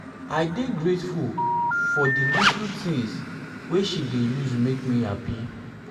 i dey grateful for di little for di little tins wey she dey use make me happy.